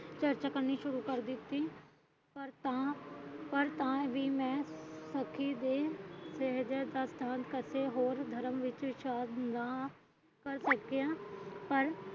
ਪਰ ਚਰਚਾ ਕਰਨੀ ਸ਼ੁਰੂ ਕਰ ਦਿੱਤੀ ਪਾਰ ਤਾਂ ਵੀ ਮੈਂ ਔਖੀ ਹੋਈ ਵੇਰਵਿਆਂ ਦਾ ਧਿਆਨ ਕਰਕੇ ਹੋਰ ਧਰਮ ਵਿਚ ਸ਼ਾਮਿਲ ਨਾ